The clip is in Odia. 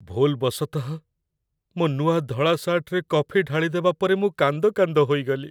ଭୁଲ୍‌ବଶତଃ ମୋ ନୂଆ ଧଳା ସାର୍ଟରେ କଫି ଢାଳିଦେବା ପରେ ମୁଁ କାନ୍ଦ କାନ୍ଦ ହୋଇଗଲି।